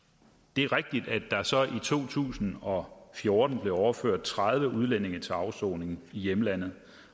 det er rigtigt at der så i to tusind og fjorten blev overført tredive udlændinge til afsoning i hjemlandet